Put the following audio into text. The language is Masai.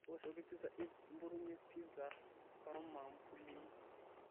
tooshoki pizza inn nimpotunyie pizza oomambulini